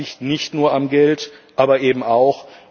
Das liegt nicht nur am Geld, aber eben auch.